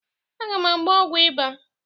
Aga m agba ọgwọ ịba.